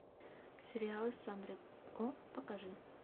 сериалы с сандрой о покажи